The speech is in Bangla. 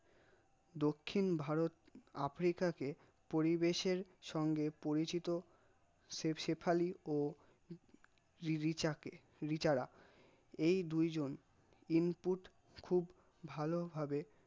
দক্ষিণ ভারত আফ্রিকাকে পরিবেশের সঙ্গে পরিচিত শেফালী ও রিবিচাকে রিচারা এই দুই জন input খুব ভালো ভাবে